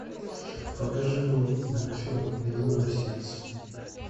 покажи новый мультфильм ледяное сердце